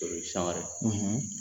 San wɛrɛ;